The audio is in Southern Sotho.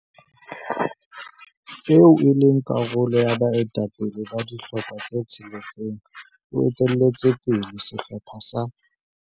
eo e leng karolo ya baetapele ba dihlopha tse tsheletseng o etelletse pele sehlopha sa